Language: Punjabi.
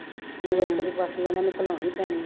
ਦੀ ਇਹਨਾ ਨੂੰ ਖੁਲ੍ਹਾਉਣ ਪੈਣੀ ਹੈ